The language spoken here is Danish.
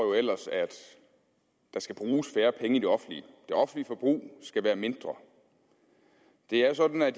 jo ellers at der skal bruges færre penge i det offentlige forbrug skal være mindre det er sådan at